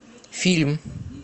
фильм